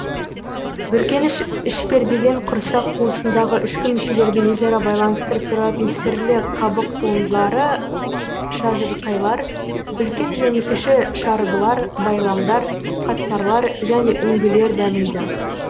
бүркеніш ішпердеден құрсақ қуысындагы ішкі мүшелерді өзара байланыстырып тұратын сірлі қабық туындылары шажырқайлар үлкен және кіші шарбылар байламдар қатпарлар және үңгілер дамиды